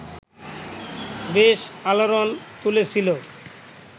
বেশ আলোড়ন তুলেছিল